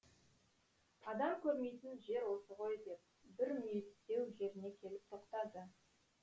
адам көрмейтін жер осы ғой деп бір мүйістеу жеріне келіп тоқтады